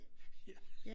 Ja